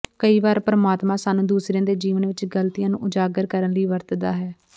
ਕਈ ਵਾਰ ਪਰਮਾਤਮਾ ਸਾਨੂੰ ਦੂਸਰਿਆਂ ਦੇ ਜੀਵਨ ਵਿਚ ਗਲਤੀਆਂ ਨੂੰ ਉਜਾਗਰ ਕਰਨ ਲਈ ਵਰਤਦਾ ਹੈ